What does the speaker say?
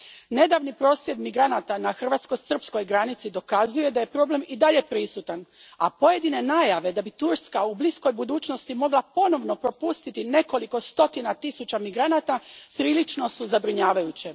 Nedavni prosvjed migranata na hrvatsko srpskoj granici dokazuje da je problem i dalje prisutan, a pojedine najave da bi Turska u bliskoj budućnosti mogla ponovno propustiti nekoliko stotina tisuća migranata prilično su zabrinjavajuće.